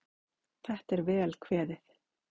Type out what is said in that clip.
Þetta er vel kveðið.